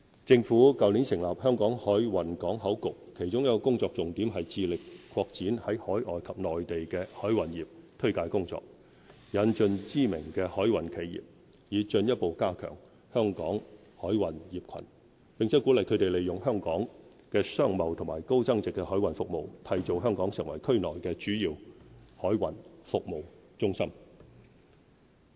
政府去年成立"香港海運港口局"，其中一個工作重點是致力擴展在海外及內地的海運業推介工作，引進知名的海運企業，以進一步加強香港海運業群，並鼓勵他們利用香港的商貿和高增值海運服務，締造香港成為區內的主要海運服務中心。